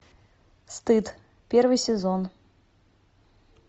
стыд первый сезон